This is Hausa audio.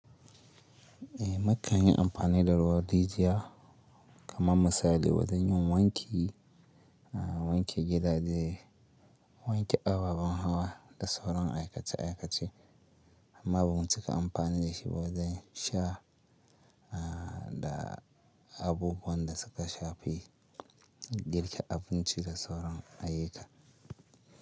Eh, na kan yi amfani da ruwan rijiya kamar misali wajan yin wanki, wanke gidaje, wanke ababen hawa da sauran aikace aikace. Amma bamu cika amfani da shi ba wajan sha da abubuwan da suka shafi girka abinci da sauran ayyuka.